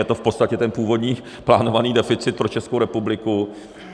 Je to v podstatě ten původní plánovaný deficit pro Českou republiku.